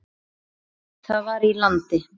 Það var í landi